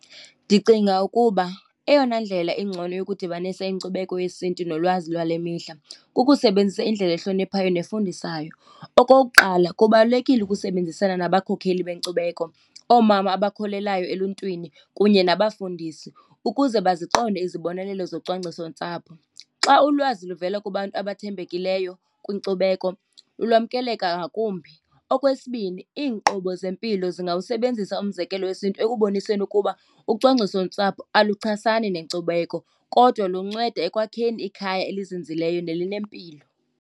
Ndicinga ukuba eyona ndlela ingcono yokudibanisa inkcubeko yesiNtu nolwazi lwale mihla kukusebenzisa indlela ehloniphayo nefundisayo. Okokuqala, kubalulekile ukusebenzisana nabakhokheli benkcubeko, oomama abakholelayo eluntwini kunye nabafundisi, ukuze baziqonde izibonelelo zocwangcisontsapho. Xa ulwazi luvela kubantu abathembekileyo kwinkcubeko lwamkeleka ngakumbi. Okwesibini, iinkqubo zempilo zingawusebenzisa umzekelo wesiNtu ekuboniseni ukuba ucwangcisontsapho aluchasani nenkcubeko kodwa lunceda ekwakheni ikhaya elizinzileyo nelinempilo.